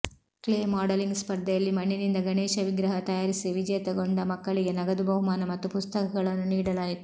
clay modelling ಸ್ಪರ್ಧೆಯಲ್ಲಿ ಮಣ್ಣಿನಿಂದ ಗಣೇಶ ವಿಗ್ರಹ ತಯಾರಿಸಿ ವಿಜೇತಗೊಂಡ ಮಕ್ಕಳಿಗೆ ನಗದು ಬಹುಮಾನ ಮತ್ತು ಪುಸ್ತಕಗಳನ್ನು ನೀಡಲಾಯಿತು